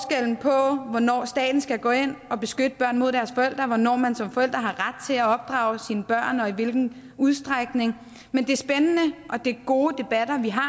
om hvornår staten skal gå ind og beskytte børn mod deres forældre og hvornår man som forældre har ret til at opdrage sine børn og i hvilken udstrækning men det er spændende og gode debatter vi har og